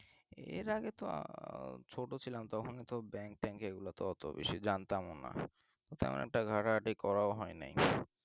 এর আগে তো আহ ছোট ছিলাম তখন তো bank ট্যাঁক এসব তো জানতাম না তেমন একটা ঘাটাঘাটি করা হয় নাই